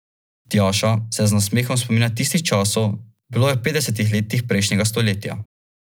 Odprem pipo, šum vode zabriše glasove.